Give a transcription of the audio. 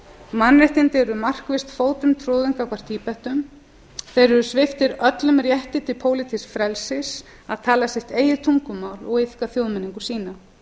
mannréttindi eru markvisst fótum troðin gagnvart tíbetum þeir eru sviptir öllum rétti til pólitísks frelsis að tala sitt eigið tungumál og iðka þjóðmenningu sína